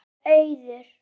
Kveðja, Auður.